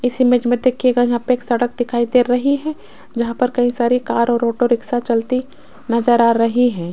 इस इमेज मे देखियेगा यहाँ पे एक सड़क दिखाई दे रही है जहां पर कई सारे कार और ऑटो रिक्शा चलती नजर आ रही है।